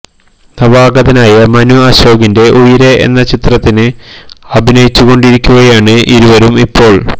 നവാഗതനായ മനു അശോകിന്റെ ഉയിരേ എന്ന ചിത്രത്തിന് അഭിനയിച്ചു കൊണ്ടിരിക്കുകയാണ് ഇരുവരും ഇപ്പോള്